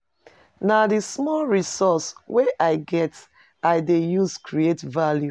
Na di small resources wey I get I dey use create value.